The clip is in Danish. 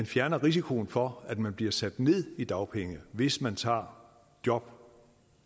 fjerner risikoen for at man bliver sat ned i dagpenge hvis man tager job